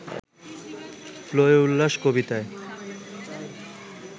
‘প্রলয়োল্লাস’ কবিতায়